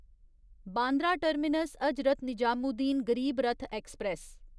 Bandra terminus Hazrat Nizamuddin Garib Rath express